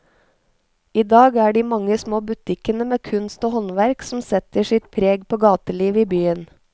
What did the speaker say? I dag er det de mange små butikkene med kunst og håndverk som setter sitt preg på gatelivet i byen.